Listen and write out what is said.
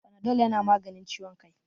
Fanadol ya na maganin ciwon kai